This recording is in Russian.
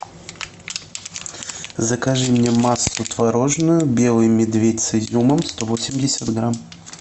закажи мне массу творожную белый медведь с изюмом сто восемьдесят грамм